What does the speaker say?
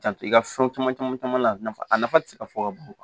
Janto i ka fɛn caman caman caman na a nafa a nafa tɛ se ka fɔ ka ban kuwa